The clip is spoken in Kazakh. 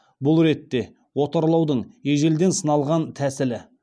бұл ретте отарлаудың ежелден сыналған тәсілі